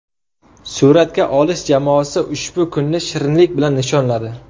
Suratga olish jamoasi ushbu kunni shirinlik bilan nishonladi.